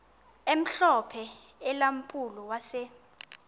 omhlophe ulampulo wase